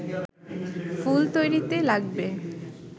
ফুল তৈরিতে লাগবে